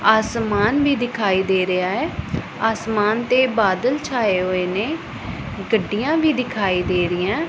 ਅਸਮਾਨ ਵੀ ਦਿਖਾਈ ਦੇ ਰਿਹਾ ਐ ਅਸਮਾਨ ਤੇ ਬਾਦਲ ਛਾਏ ਹੋਏ ਨੇ ਗੱਡੀਆਂ ਵੀ ਦਿਖਾਈ ਦੇ ਰਹੀਆਂ।